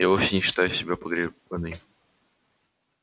я вовсе не считаю себя погребённой